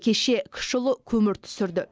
кеше кіші ұлы көмір түсірді